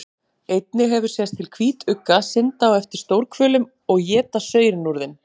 Einnig hefur sést til hvítugga synda á eftir stórhvölum og éta saurinn úr þeim.